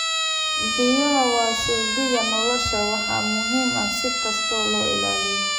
Biyaha waa saldhigga nolosha waxaana muhiim ah in si kasta loo ilaaliyo.